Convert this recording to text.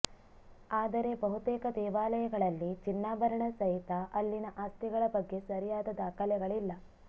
ಆದರೆ ಬಹುತೇಕ ದೇವಾಲಯಗಳಲ್ಲಿ ಚಿನ್ನಾಭರಣ ಸಹಿತ ಅಲ್ಲಿನ ಆಸ್ತಿಗಳ ಬಗ್ಗೆ ಸರಿಯಾದ ದಾಖಲೆಗಳಿಲ್ಲ